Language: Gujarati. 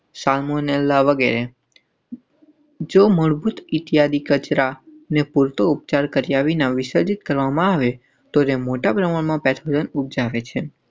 શામ મને લાગે મજબૂત ઇત્યાદિ કચરા ને પૂરતો ઉપચાર કર્યા વિના વિસર્જિત કરવામાં આવે તો તે મોટા પ્રમાણમાં પૅથોજન ઉપજાવે છે.